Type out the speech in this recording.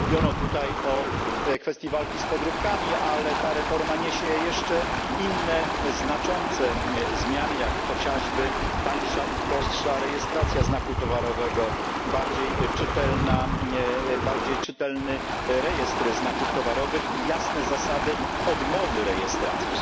Wiele mówiono tutaj o kwestii walki z podróbkami, ale ta reforma niesie jeszcze inne znaczące zmiany, jak chociażby tańsza i prostsza rejestracja znaku towarowego, bardziej czytelny rejestr znaków towarowych i jasne zasady odmowy rejestracji.